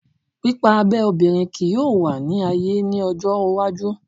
Pipa abe obinrin kii yoo wa ni aye ni ojo iwaju